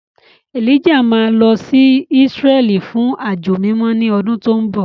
Elijah máa lọ sí Ísírẹ́lì fún àjọ mímọ́ ní ọdún tó ń bọ̀.